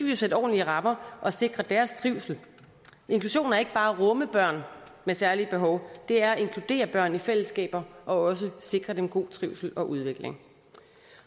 jo sætte ordentlige rammer og sikre deres trivsel inklusion er ikke bare at rumme børn med særlige behov det er at inkludere børn i fællesskaber og også sikre dem god trivsel og udvikling